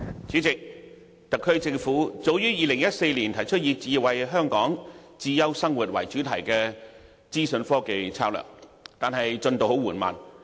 主席，特區政府早於2014年提出以"智慧香港，智優生活"為主題的資訊科技策略，但推行進度十分緩慢。